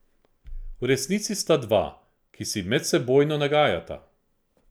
V resnici sta dva, ki si medsebojno nagajata.